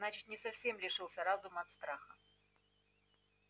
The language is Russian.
значит не совсем лишился разума от страха